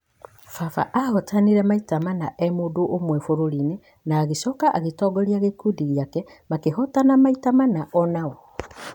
Baba ahotanĩte maita mana e mũndũ ũmwe bũrũriinĩ na agĩcoka agĩtongoria gĩkundi gĩake makĩhotana maita mana onao